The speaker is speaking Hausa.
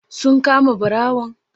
Sun kama ɓarawon?